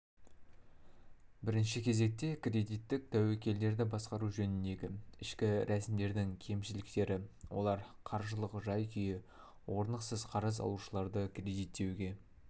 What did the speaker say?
бірінші кезекте кредиттік тәуекелдерді басқару жөніндегі ішкі рәсімдердің кемшіліктері олар қаржылық жай-күйі орнықсыз қарыз алушыларды кредиттеуге